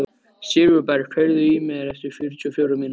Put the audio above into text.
Sigurberg, heyrðu í mér eftir fjörutíu og fjórar mínútur.